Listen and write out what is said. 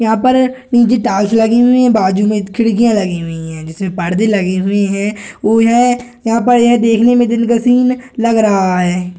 यहाँ पर नीचे टाइल्स लगी हुई हैं बाजू में खिड़कियाँ लगी हुई हैं जिसमें परदे लगे हुए हैं और यां यहां पर यह देखने में दिन का सीन लग रहा है।